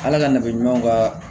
Ala ka nafa ɲuman k'a la